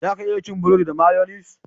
Za ka iya cin buredi da mayonis